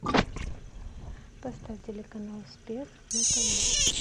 поставь телеканал успех на тв